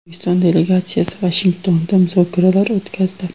O‘zbekiston delegatsiyasi Vashingtonda muzokaralar o‘tkazdi.